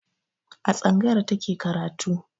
A tsangayar ta ke karatu.